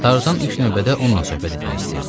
Tarzan ilk növbədə onunla söhbət etmək istəyirdi.